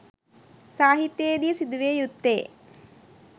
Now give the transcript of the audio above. සාහිත්‍යයේ දී සිදු විය යුත්තේ